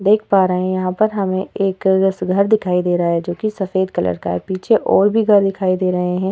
देख पा रहे हैं यहाँ पर हमे एक घर दिखाई दे रहा है जोकि सफ़ेद कलर का है। पीछे और भी घर दिखाई दे रहे हैं।